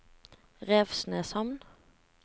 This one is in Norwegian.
Revsneshamn